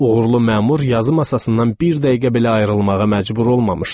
Uğurlu məmur yazı masasından bir dəqiqə belə ayrılmağa məcbur olmamışdı.